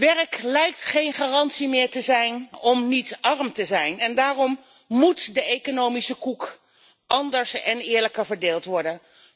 Werk lijkt geen garantie meer te zijn om niet arm te zijn en daarom moet de economische koek anders en eerlijker verdeeld worden.